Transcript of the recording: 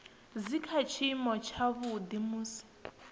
dzi kha tshiimo tshavhuḓi musi